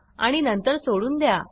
आणि नंतर सोडून द्या